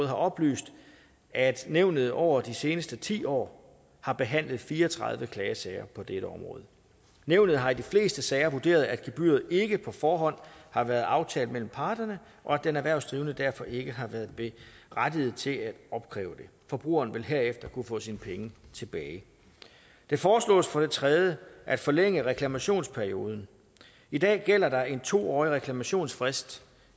har oplyst at nævnet over de seneste ti år har behandlet fire og tredive klagesager på dette område nævnet har i de fleste sager vurderet at gebyret ikke på forhånd har været aftalt mellem parterne og at den erhvervsdrivende derfor ikke har været berettiget til at opkræve det forbrugeren vil herefter kunne få sine penge tilbage det foreslås for det tredje at forlænge reklamationsperioden i dag gælder der en to årig reklamationsfrist